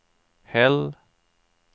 Hell